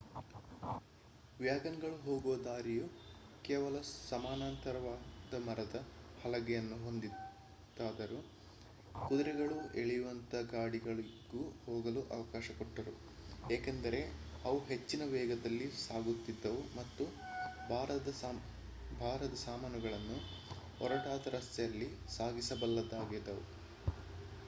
ವ್ಯಾಗನ್ಗಳು ಹೋಗುವ ಹಾದಿಯು ಕೇವಲ ಸಮಾನಾಂತರವಾದ ಮರದ ಹಲಗೆಗಳನ್ನು ಹೊಂದಿತ್ತಾದರೂ ಕುದುರೆಗಳು ಎಳೆಯುವಂಥ ಗಾಡಿಗಳಿಗೂ ಹೋಗಲು ಅವಕಾಶ ಕೊಟ್ಟರು ಏಕೆಂದರೆ ಅವು ಹೆಚ್ಚಿನ ವೇಗದಲ್ಲಿ ಸಾಗುತ್ತಿದ್ದವು ಮತ್ತು ಭಾರದ ಸಾಮಾನುಗಳನ್ನೂ ಒರಟಾದ ರಸ್ತೆಗಳಲ್ಲಿ ಸಾಗಿಸಬಲ್ಲವಾಗಿದ್ದವು